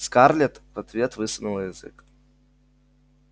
скарлетт в ответ высунула язык